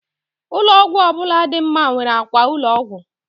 ụlọ ọgwụ ọ bụla dị mma nwere akwa ụlọ ọgwụ